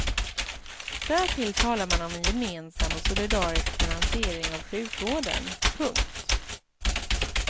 Därtill talar man om en gemensam och solidarisk finansiering av sjukvården. punkt